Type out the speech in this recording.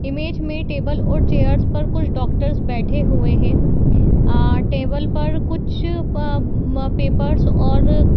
image पर tables और chairs पर कुछ डॉक्टर्स बैठे हुए हैं | अ टेबल पर कुछ प म पेपर्स और --